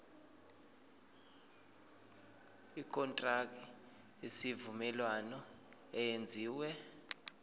ikontraki yesivumelwano eyenziwe